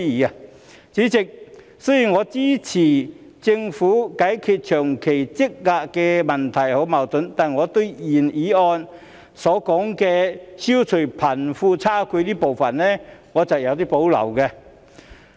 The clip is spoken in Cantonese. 代理主席，雖然我支持政府解決長期積壓的問題和矛盾，但對於原議案所說的消弭貧富差距部分，我是有所保留的。